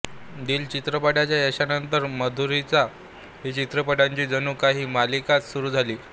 दिल चित्रपटाच्या यशानंतर माधुरीच्या हिट चित्रपटांची जणू काही मालिकाच सुरू झाली